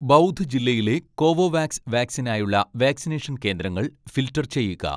ബൗധ് ജില്ലയിലെ കോവോവാക്സ് വാക്‌സിനിനായുള്ള വാക്‌സിനേഷൻ കേന്ദ്രങ്ങൾ ഫിൽട്ടർ ചെയ്യുക.